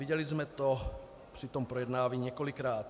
Viděli jsme to při tom projednávání několikrát.